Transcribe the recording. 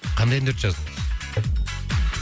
қандай әндерді жаздыңыз